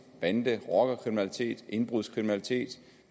bande rockerkriminalitet indbrudskriminalitet